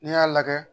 N'i y'a lajɛ